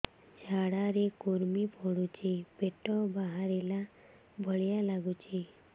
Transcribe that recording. ଝାଡା ରେ କୁର୍ମି ପଡୁଛି ପେଟ ବାହାରିଲା ଭଳିଆ ଲାଗୁଚି